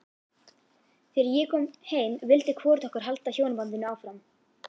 Þegar ég kom heim vildi hvorugt okkar halda hjónabandinu áfram.